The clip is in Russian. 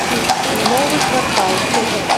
новый квартал